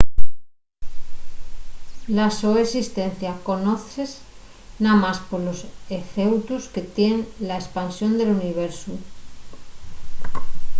la so esistencia conozse namás polos efeutos que tien na espansión del universu